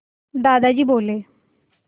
दादाजी बोले